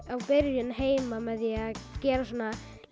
byrjun heima með því að gera svona